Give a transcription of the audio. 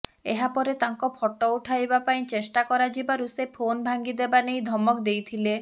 ଏହାପରେ ତାଙ୍କ ଫଟୋ ଉଠାଇବା ପାଇଁ ଚେଷ୍ଟା କରାଯିବାରୁ ସେ ଫୋନ ଭାଙ୍ଗି ଦେବା ନେଇ ଧମକ ଦେଇଥିଲେ